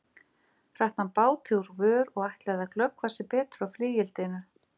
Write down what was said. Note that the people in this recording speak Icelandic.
Hratt hann báti úr vör og ætlaði að glöggva sig betur á flygildinu.